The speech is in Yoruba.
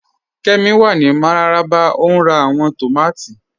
Kẹ́mí wà ní Mararaba o n rá awọn tómàtì